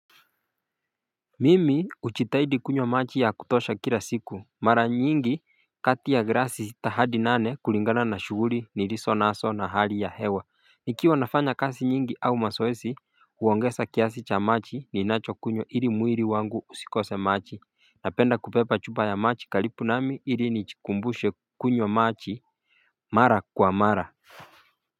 Mimi uchitahidi kunywa maji ya kutosha kila siku mara nyingi kati ya grasi sita hadi nane kulingana na shuguri niliso naso na hali ya hewa Nikiwa nafanya kasi nyingi au masoesi huwongesa kiasi cha machi ninacho kunyo ili muiri wangu usikose machi Napenda kupepa chupa ya machi kalipu nami ili nichikumbushe kunyo machi mara kwa mara.